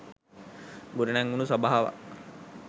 ගොඩ නැංවුණු සභාවක්